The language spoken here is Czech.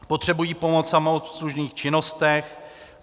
Potřebují pomoc v samoobslužných činnostech.